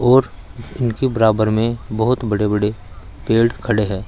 और इनके बराबर में बोहोत बड़े बड़े पेड़ खड़े हैं।